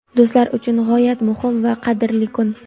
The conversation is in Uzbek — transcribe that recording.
do‘stlari uchun g‘oyat muhim va qadrli kun.